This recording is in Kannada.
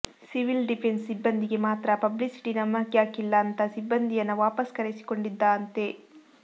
ಸಿವಿಲ್ ಡಿಫೆನ್ಸ್ ಸಿಬ್ಬಂದಿಗೆ ಮಾತ್ರ ಪಬ್ಲಿಸಿಟಿ ನಮಗ್ಯಾಕಿಲ್ಲ ಅಂತ ಸಿಬ್ಬಂದಿಯನ್ನ ವಾಪಸ್ ಕರೆಸಿಕೊಂಡಿದ್ದಾತೆ